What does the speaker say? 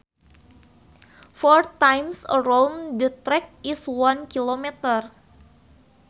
Four times around the track is one kilometer